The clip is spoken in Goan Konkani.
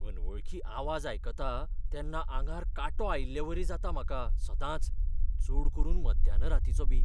अनवळखी आवाज आयकतां तेन्ना आंगार कांटो आयिल्लेवरी जाता म्हाका सदांच, चड करून मध्यान रातींचो बी.